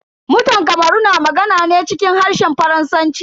Mutan kamaru na magana ne cikin harshen Faransanci.